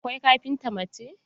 Akwai kafinta mace.